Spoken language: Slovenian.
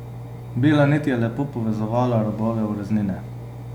Bela nit je lepo povezovala robove ureznine.